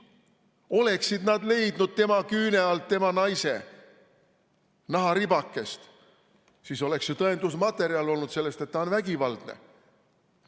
Oleksid nad leidnud tema küüne alt tema naise naharibakese, siis oleks ju tõendusmaterjal olnud sellest, et ta on vägivaldne.